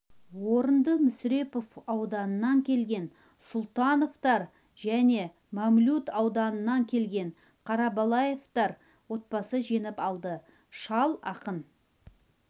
орынды мүсірепов ауданынан келген сұлтановтар және мамлют ауданынан келген қарабалаевтар отбасы жеңіп алды шал ақын